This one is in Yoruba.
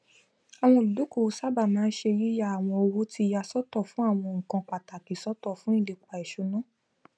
àwọn olúdókòwò sáábà màa n ṣe yìya àwọn owó ti yà sọtọ fún àwọn nnkan pàtàkì sọtọ fun ìlepa ìṣúná